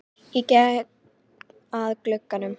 Ég geng að glugganum.